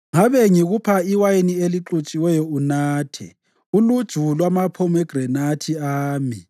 Ngabe ngiyakudonsa ngikuse endlini kamama yena owangikhulisayo. Ngabe ngikupha iwayini elixutshiweyo unathe, uluju lwamaphomegranathi ami.